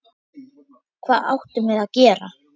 Hvað áttum við að gera?